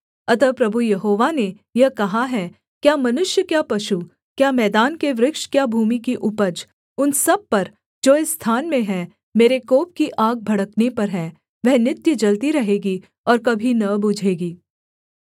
अतः प्रभु यहोवा ने यह कहा है क्या मनुष्य क्या पशु क्या मैदान के वृक्ष क्या भूमि की उपज उन सब पर जो इस स्थान में हैं मेरे कोप की आग भड़कने पर है वह नित्य जलती रहेगी और कभी न बुझेगी